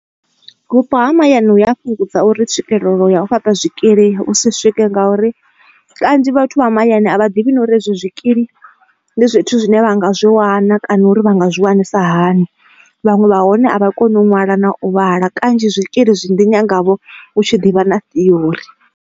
Vhupo ha mahayani hu ya fhungudza uri tswikelelo ya u fhaṱa zwikili hu si swike ngauri kanzhi vhathu vha mahayani avha divhi uri ezwi zwikili ndi zwithu zwine vha nga zwo wana kana uri vha nga zwi wanisa hani vhaṅwe vha hone a vha koni u ṅwala na u vhala kanzhi zwikili zwi ḓi nyanga vho u tshi ḓivha na theory.